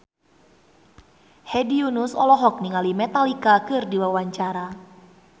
Hedi Yunus olohok ningali Metallica keur diwawancara